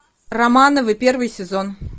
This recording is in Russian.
романовы первый сезон